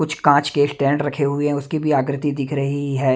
कुछ कांच के स्टैंड रखे हुए हैं उसकी भी आकृति दिख रही है।